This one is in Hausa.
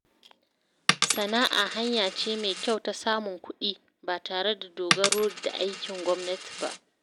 Sana’a hanya ce mai kyau ta samun kuɗi ba tare da dogaro da aikin gwamnati ba.